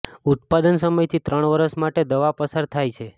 ઉત્પાદન સમય થી ત્રણ વર્ષ માટે દવા પસાર થાય છે